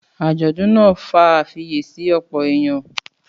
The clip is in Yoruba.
Àjọ̀dún náà fa àfiyèsí ọ̀pọ̀ èèyàn.